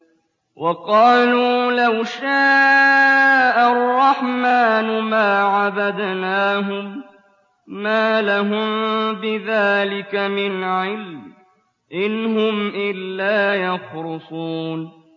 وَقَالُوا لَوْ شَاءَ الرَّحْمَٰنُ مَا عَبَدْنَاهُم ۗ مَّا لَهُم بِذَٰلِكَ مِنْ عِلْمٍ ۖ إِنْ هُمْ إِلَّا يَخْرُصُونَ